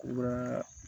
U ka